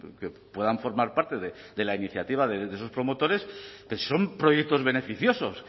que puedan formar parte de la iniciativa de esos promotores pero si son proyectos beneficiosos